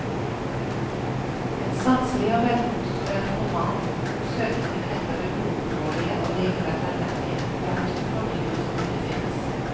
En sanselig og velkonstruert roman om søkingen etter det uoppnåelige og likevel nødvendige, jakten på dyret som ikke finnes.